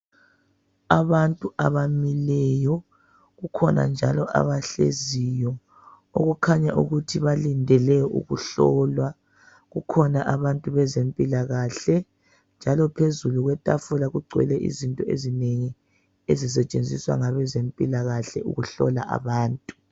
Abantu abamileyo kukhona njalo abahleziyo okukhanya ukuthi balindele ukuhlolwa ,kukhona abantu bezempilakahle ,njalo phezulu kwetafula kugcwele izinto ezinengi ezisetshenziswa ngabezempilakahle ukuhlola abantu.